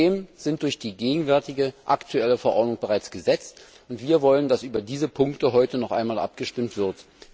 Die Themen sind durch die gegenwärtige Verordnung bereits gesetzt, und wir wollen, dass über diese Punkte heute noch einmal abgestimmt wird.